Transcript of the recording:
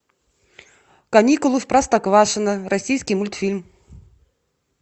каникулы в простоквашино российский мультфильм